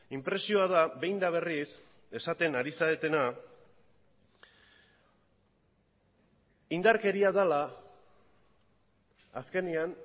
inpresioa da behin eta berriz esaten ari zaretena indarkeria dela azkenean